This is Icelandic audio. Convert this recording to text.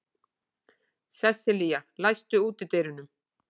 Sesselía, læstu útidyrunum.